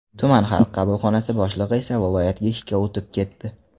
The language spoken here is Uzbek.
Tuman Xalq qabulxonasi boshlig‘i esa viloyatga ishga o‘tib ketdi.